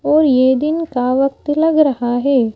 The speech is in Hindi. और ये दिन का वक्त लग रहा हे।